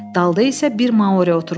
Dalda isə bir Mauri oturmuşdu.